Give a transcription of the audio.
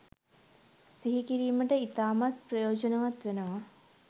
සිහි කිරීම ඉතාමත්ම ප්‍රයෝජනවත් වෙනවා